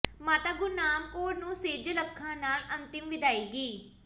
ਮਾਤਾ ਗੁਰਨਾਮ ਕੌਰ ਨੂੰ ਸੇਜਲ ਅੱਖਾਂ ਨਾਲ ਅੰਤਿਮ ਵਿਦਾਇਗੀ